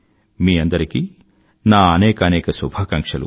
మీ అందరికీ నా అనేకానేక శుభాకాంక్షలు